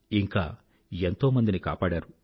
ఇంకా ఎంతోమందిని కాపాడారు